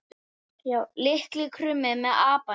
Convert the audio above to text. Litli krulli með apann sinn.